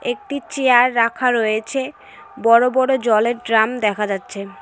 একটি চেয়ার রাখা রয়েছে বড় বড় জলের ড্রাম দেখা যাচ্ছে।